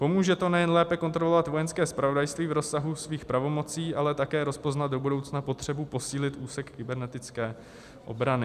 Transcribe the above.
Pomůže to nejen lépe kontrolovat Vojenské zpravodajství v rozsahu jeho pravomocí, ale také rozpoznat do budoucna potřebu posílit úsek kybernetické obrany.